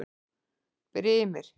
Brimir